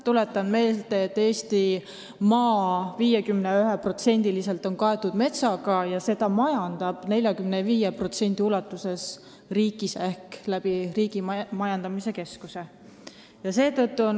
Tuletan meelde, et 51% Eestimaast on kaetud metsaga, mida majandab 45% ulatuses riik ise Riigimetsa Majandamise Keskuse kaudu.